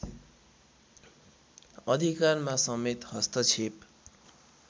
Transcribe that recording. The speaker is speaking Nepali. अधिकारमा समेत हस्तक्षेप